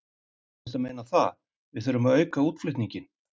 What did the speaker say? Þú ert að meina það, við þurfum að auka útflutninginn?